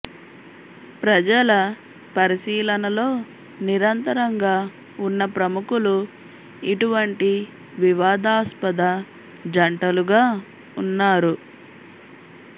ప్రజల పరిశీలనలో నిరంతరంగా ఉన్న ప్రముఖులు ఇటువంటి వివాదాస్పద జంటలుగా ఉన్నారు